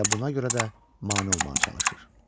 Elə buna görə də mane olmağa çalışır.